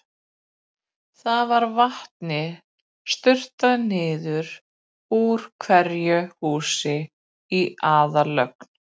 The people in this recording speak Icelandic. Þar var vatni sturtað niður úr hverju húsi í aðallögn.